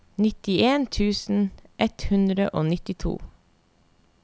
nittien tusen ett hundre og nittito